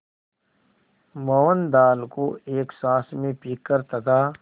मोहन दाल को एक साँस में पीकर तथा